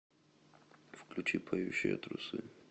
включи поющие трусы